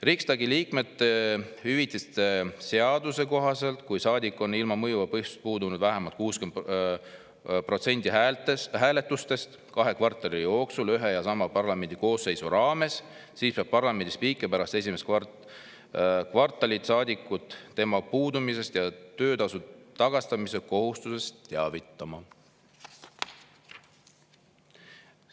Riksdagi liikmete hüvitiste seaduse kohaselt, kui saadik on ilma mõjuva põhjuseta puudunud vähemalt 60%‑l hääletustest kahe kvartali jooksul ühe ja sama parlamendikoosseisu raames, peab parlamendi spiiker pärast esimest kvartalit saadikut tema puudumisest ja töötasu tagastamise kohustusest teavitama.